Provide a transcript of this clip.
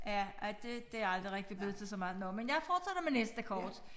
Ja ej det det aldrig rigtig blevet til så meget nåh men jeg fortsætter med næste kort